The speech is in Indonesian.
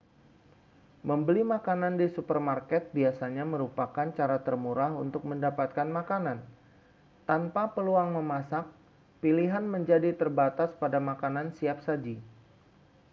membeli makanan di supermarket biasanya merupakan cara termurah untuk mendapatkan makanan tanpa peluang memasak pilihan menjadi terbatas pada makanan siap-saji